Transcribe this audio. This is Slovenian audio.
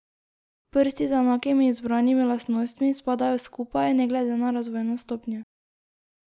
Prsti z enakimi izbranimi lastnostmi spadajo skupaj, ne glede na razvojno stopnjo.